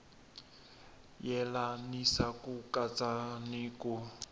yelanisa ku katsa ni ku